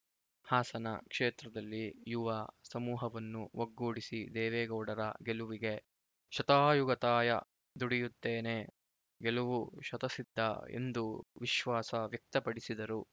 ಹಾಸನ ಕ್ಷೇತ್ರದಲ್ಲಿ ಯುವ ಸಮೂಹವನ್ನು ಒಗ್ಗೂಡಿಸಿ ದೇವೇ ಗೌಡರ ಗೆಲುವಿಗೆ ಶತಾಯಗತಾಯ ದುಡಿಯುತ್ತೇನೆ ಗೆಲುವು ಶತಸಿದ್ಧ ಎಂದು ವಿಶ್ವಾಸ ವ್ಯಕ್ತಪಡಿಸಿದರು